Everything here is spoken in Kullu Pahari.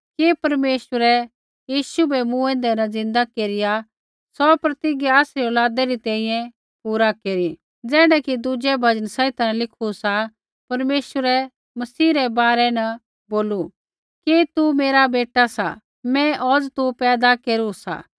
कि परमेश्वरै यीशु बै मूँऐंदै न ज़िन्दै केरिआ सौ प्रतिज्ञा आसरी औलादै री तैंईंयैं पूरा केरू ज़ैण्ढा कि दुज़ै भजन संहिता न लिखू सा परमेश्वरै मसीह रै बारै न बोलू कि तू मेरा बेटा सा मैं औज़ तू पैदा केरू सा